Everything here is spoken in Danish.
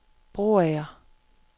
Broager